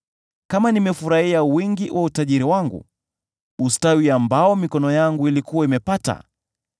kama nimefurahia wingi wa utajiri wangu, ustawi ambao mikono yangu ilikuwa imepata,